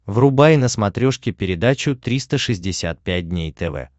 врубай на смотрешке передачу триста шестьдесят пять дней тв